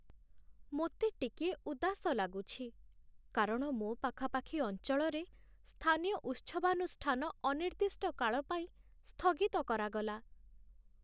ମୋତେ ଟିକିଏ ଉଦାସ ଲାଗୁଛି, କାରଣ ମୋ ପାଖାପାଖି ଅଞ୍ଚଳରେ ସ୍ଥାନୀୟ ଉତ୍ସବାନୁଷ୍ଠାନ ଅନିର୍ଦ୍ଦିଷ୍ଟ କାଳ ପାଇଁ ସ୍ଥଗିତ କରାଗଲା।